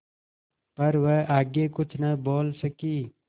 पर वह आगे कुछ न बोल सकी